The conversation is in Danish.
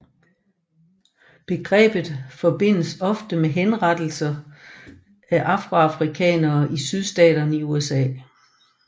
Begrebet forbindes ofte med henrettelser af afroamerikanere i Sydstaterne i USA